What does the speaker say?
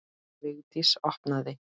Vigdís opnaði.